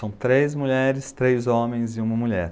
São três mulheres, três homens e uma mulher.